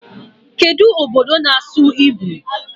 Kedụ obodo na-asụ Hibru?